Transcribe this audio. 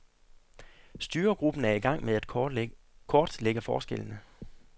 Styregruppen er i gang med at kortlægge forskellene.